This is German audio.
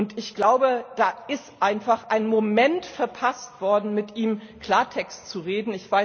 Und ich glaube, da ist einfach ein Moment verpasst worden, mit ihm Klartext zu reden.